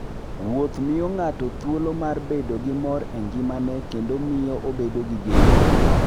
Wuoth miyo ng'ato thuolo mar bedo gi mor e ngimane kendo miyo obedo gi geno.